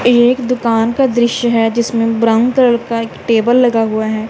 ए एक दुकान का दृश्य है जिसमें ब्राउन कलर का एक टेबल लगा हुआ है।